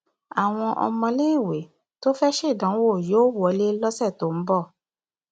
àwọn ọmọléèwé tó fẹẹ ṣèdánwò yóò wọlé lọsẹ tó ń bọ